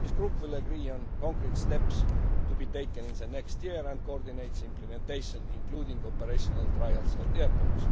summer. This group will agree on concrete steps to be taken in the coming year and will coordinate implementation, including operational trials at airports.